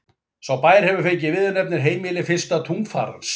Sá bær hefur fengið viðurnefnið heimili fyrsta tunglfarans.